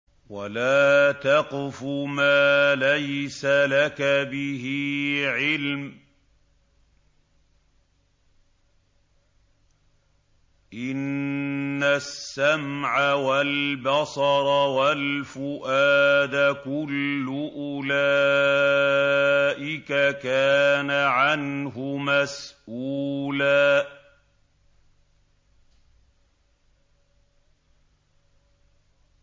وَلَا تَقْفُ مَا لَيْسَ لَكَ بِهِ عِلْمٌ ۚ إِنَّ السَّمْعَ وَالْبَصَرَ وَالْفُؤَادَ كُلُّ أُولَٰئِكَ كَانَ عَنْهُ مَسْئُولًا